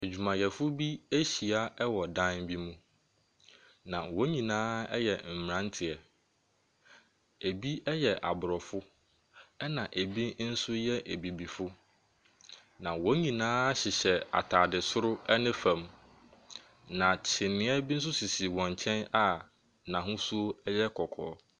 Adwumayɛfoɔ bi ahyia wɔ dan bi mu, na wɔn nyinaa yɛ mmeranteɛ. Ebi yɛ aborɔfo, ɛnna ebi nso yɛ ebibifo, na wɔn nyinaa hyehyɛ atade soro ne fam, na kyiniiɛ bi nso sisi wɔn nkyɛn a n'ahosuo yɛ kɔkɔɔ.